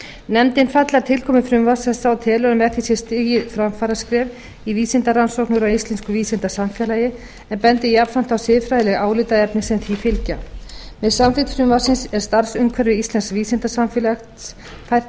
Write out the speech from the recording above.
nefndin fagnar tilkomu frumvarps þessa og telur að með því sé stigið framfaraskref í vísindarannsóknum og íslensku vísindasamfélagi en bendir jafnframt á siðfræðileg álitaefni sem því fylgja með samþykkt frumvarpsins er starfsumhverfi íslensks vísindasamfélags fært